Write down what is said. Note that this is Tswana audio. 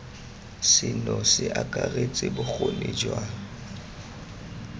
seno se akaretsa bokgoni jwa